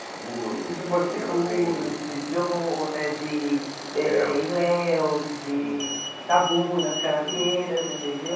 Seguro de Porto Seguro, de Belmonte eh de eh Ilhéus, de Itabunas, Canavieiras, entendeu?